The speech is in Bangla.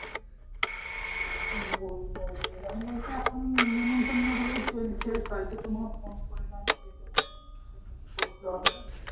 বলব সেরকম বলে তো এখন নিমতন্নগুলোই চলছে তাইতো তোমায় ফোন করলাম যে তোমাকে নিমতন্ন করতে হবে